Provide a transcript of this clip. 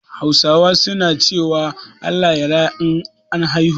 Hausawa su na cewa "Allah ya raya " an haihu